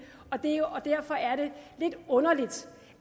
derfor er det lidt underligt